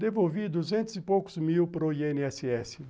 Devolvi duzentos e poucos mil para o i ene esse esse.